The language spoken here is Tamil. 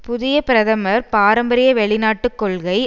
புதிய பிரதமர் பாரம்பரிய வெளிநாட்டு கொள்கை